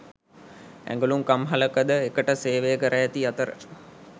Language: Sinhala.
ඇඟලුම් කම්හලක ද එකට සේවය කර ඇති අතර